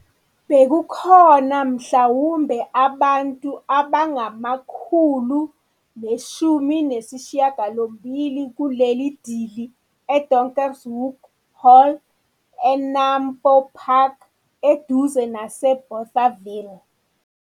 Bekukhona mhlawumbe abantu abangu-180 kuleli dili eDonkerhoek Hall eNAMPO Park, eduze naseBothaville.